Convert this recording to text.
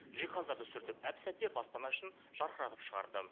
жиһаздарды сүртіп әп сәтте баспана ішін жарқыратып шығарды